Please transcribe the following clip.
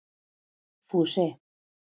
Fúsi